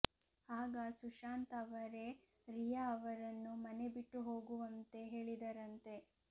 ಆಗ ಸುಶಾಂತ್ ಅವರೇ ರಿಯಾ ಅವರನ್ನು ಮನೆ ಬಿಟ್ಟು ಹೋಗುವಂತೆ ಹೇಳಿದರಂತೆ